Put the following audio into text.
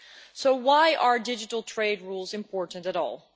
So why are digital trade rules important at all?